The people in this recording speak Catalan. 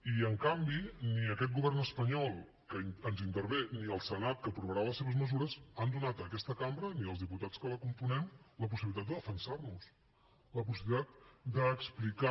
i en canvi ni aquest govern espanyol que ens intervé ni el senat que aprovarà les seves mesures han donat a aquesta cambra ni als diputats que la componem la possibilitat de defensar nos la possibilitat d’explicar